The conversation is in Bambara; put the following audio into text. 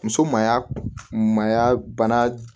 Muso maya maaya bana